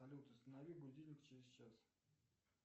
салют установи будильник через час